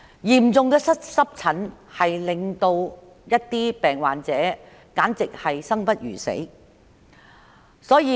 嚴重的濕疹會令患者生不如死。